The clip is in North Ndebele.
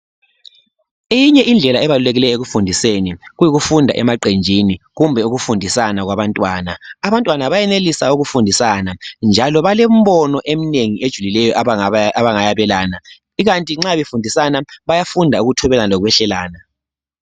Eyinye indlela ebalulekileyo ekufundiseni kuyikufunda emaqenjini kumbe ukufundisana kwabantwana, abantwana bayenelisa ukufundisana njalo balemibono eminengi ejulileyo abangayabelana ikanti nxa befundisana bayafunda ukuthobelana lokwehlelana.